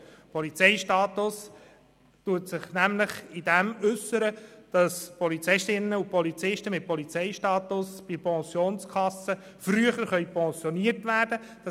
Dieser äussert sich darin, dass Polizisten und Polizistinnen mit diesem Status früher pensioniert werden können.